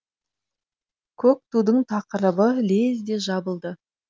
көк тудың тақырыбы лезде жабылды